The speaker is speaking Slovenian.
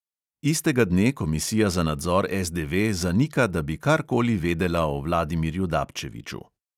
Istega dne komisija za nadzor SDV zanika, da bi karkoli vedela o vladimirju dapčeviću.